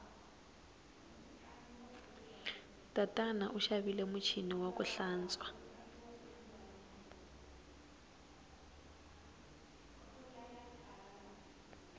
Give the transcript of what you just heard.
tatana u xavile muchini waku hlantswa